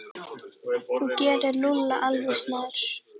Þú gerir Lúlla alveg snar,